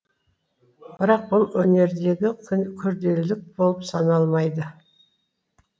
бірақ бұл өнердегі күрделілік болып саналмайды